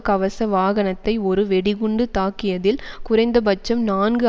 கவச வாகனத்தை ஒரு வெடிகுண்டு தாக்கியதில் குறைந்தபட்சம் நான்கு